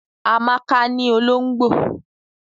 Amaka ni olongbo.